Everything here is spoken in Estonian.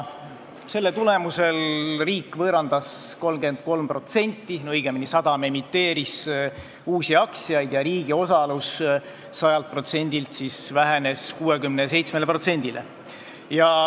Selle tulemusel emiteeris sadam 33% uusi aktsiaid ja riigi osalus vähenes 100%-lt 67%-le.